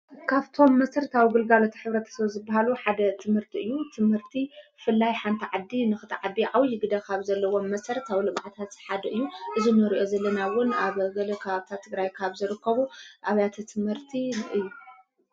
ካፍቶም ምሥርታው ግልጋሉታ ኅብረተ ሰወ ዝበሃሉ ሓደ ትምህርቲ እዩ ትምህርቲ ፍላይ ሓንተ ዓዲ ንኽትዓዲ ዓዊ ይግደ ኻብ ዘለዎም መሠር ኣው ልምዕታሢሓደ እዩ እዝ ነርእዮ ዘለናውን ኣብ ገለ ካብታ ትግራይ ካብ ዘርከቡ ኣብያተ ትመህርቲእዩ።